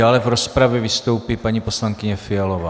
Dále v rozpravě vystoupí paní poslankyně Fialová.